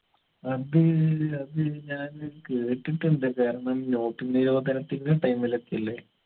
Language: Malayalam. അത് അത് ഞാൻ കേട്ടിട്ടുണ്ട് കാരണം note നിരോധനത്തിന്റെ time ലൊക്കെയുള്ളെ